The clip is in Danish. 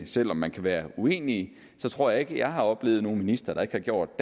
selv om man kan være uenig tror jeg ikke jeg har oplevet nogen minister der ikke har gjort